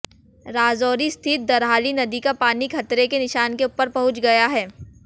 राजौरी स्थित दरहाली नदी का पानी खतरे के निशान के ऊपर पहुंच गया है